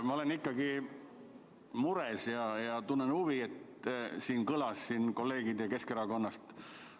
Ma olen ikkagi mures selle pärast, mis siin kolleegilt Keskerakonnast kõlas.